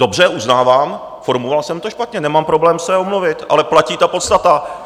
Dobře, uznávám, formuloval jsem to špatně, nemám problém se omluvit, ale platí ta podstata.